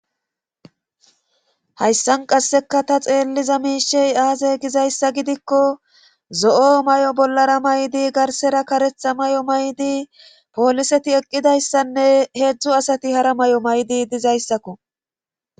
Hayssan qasseka ta xeelliza miishey aaze gizayssa gidikko zo'o may'o bollara maydi garsera karetha may'o maydi pooliseti eqqidayssanne heedzdzu asati hara may'o maydi dizayssakko